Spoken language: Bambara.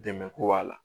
Dɛmɛ ko b'a la